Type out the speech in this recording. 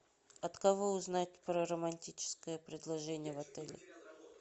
от кого узнать про романтическое предложение в отеле